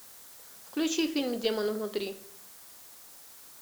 включи фильм демон внутри